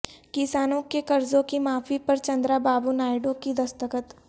کسانوں کے قرضوں کی معافی پر چندرا بابو نائیڈو کی دستخط